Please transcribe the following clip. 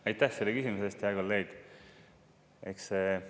Aitäh selle küsimuse eest, hea kolleeg!